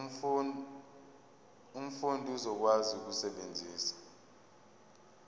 umfundi uzokwazi ukusebenzisa